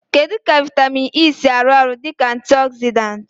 Kedu ka vitamin E si arụ ọrụ dị ka antioxidant?